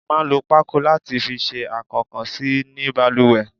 A máa ń lò pako láti fi ṣe akokansi ní baluwe